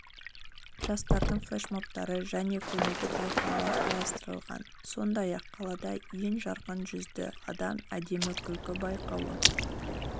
жастардың флешмобтары және көңілді байқаулар қарастырылған сондай-ақ қалада ең жарқын жүзді адам әдемі күлкі байқауы